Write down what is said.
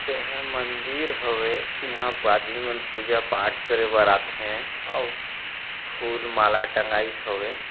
एहा मंदिर हवे इहा प आदमी मन पूजा पाठ करे बर आथे अउ फूल माला टंगाइस हवे।